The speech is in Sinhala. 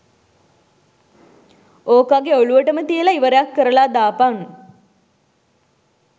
ඕකගෙ ඔළුවටම තියලා ඉවරයක්‌ කරලා දාපන්